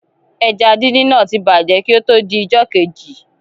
Ẹja díndín náà ti bàjẹ́ kí ó tó di ijọ́ kejì.